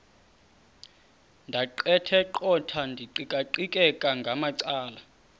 ndaqetheqotha ndiqikaqikeka ngamacala